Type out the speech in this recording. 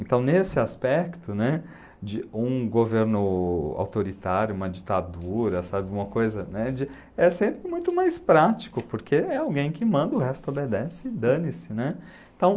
Então, nesse aspecto, né, de um governo autoritário, uma ditadura, sabe, uma coisa, né, é sempre muito mais prático, porque é alguém que manda, o resto obedece, dane-se, né. Então